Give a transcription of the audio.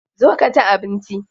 Zo ka ci abinci.